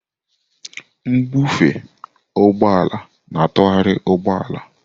Mbufe ụgbọ ala na-atụgharị ụgbọ ala.